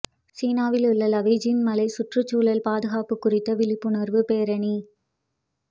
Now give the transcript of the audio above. சீனாவில் உள்ள லாவோஜுன் மலையில் சுற்றுச்சூழல் பாதுகாப்பு குறித்த விழிப்புணர்வு பேரணி